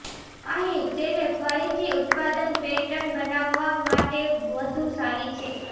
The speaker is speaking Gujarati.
અહીં તેને ફરીથી ઉત્પાદન પેટર્ન બનાવવા માટે વધુ સારી છે